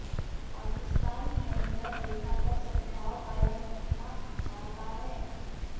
पाकिस्तान नियंत्रण रेखा पर सद्भाव कायम रखना चाहता है